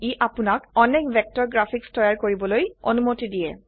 ই আপোনাক অনেক vector graphics তৈয়াৰ কৰিবলৈ অনুমতি দিয়ে